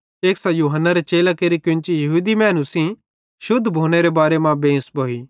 एक्सां यूहन्नारे चेलां केरि केन्ची यहूदी मैनू सेइं रुवाज़ेरे मुताबिक शुद्ध भोनेरे बारे मां बेंस भोइ